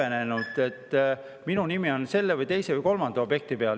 Ma ei häbenenud, et minu nimi on selle või teise või kolmanda objekti peal.